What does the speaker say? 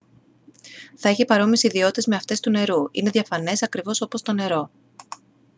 θα έχει παρόμοιες ιδιότητες με αυτές του νερού είναι διαφανές ακριβώς όπως το νερό